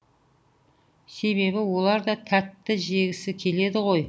себебі олар да тәтті жегісі келеді ғой